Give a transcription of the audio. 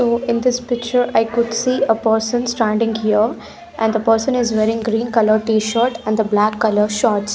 in this picture i could see a person standing here and the person is wearing green colour tshirt and the black colour shorts.